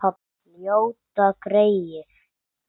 Ljóta greyið.